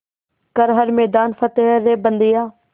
कर हर मैदान फ़तेह रे बंदेया